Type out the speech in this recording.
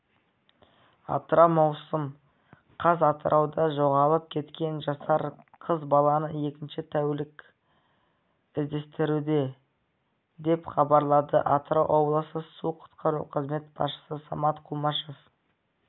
атырау маусым қаз атырауда жоғалып кеткен жасар қыз баланы екінші тәулік іздестіруде деп хабарлады атырау облысы су-құтқару қызметі басшысы самат құмашев